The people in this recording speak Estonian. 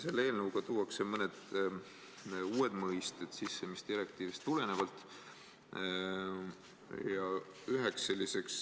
Selle eelnõuga tuuakse sisse mõned uued mõisted direktiivist tulenevalt.